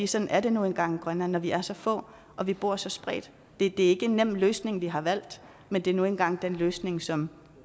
sådan er det nu engang i grønland når vi er så få og vi bor så spredt det er ikke en nem løsning vi har valgt men det er nu engang den løsning som